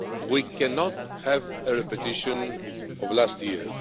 We cannot have a repetition of last year.